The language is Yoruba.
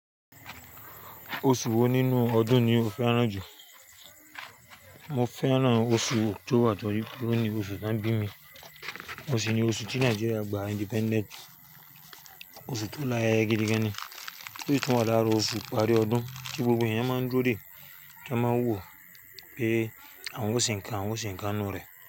Oṣù wo nínú ọdún ni o fẹ́ràn jù? Mo fẹ́ràn oṣù october torí pé òun ni ìgbà tí wọ́n bí mi òun sì ni oṣù tí Nigeria gba independent. Oṣù tó láyé gidi gan ni. Tosí tí tún wá lára oṣù ìparí ọdún, tí gbogbo ẹ̀yàn máa ń dúró dè kí a máa wò ó pé àwọn ó ṣe ǹkan, àwọn ó ṣe ǹkan nínú rẹ̀